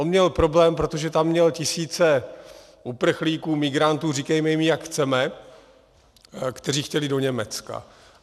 On měl problém, protože tam měl tisíce uprchlíků, migrantů, říkejme jim, jak chceme, kteří chtěli do Německa.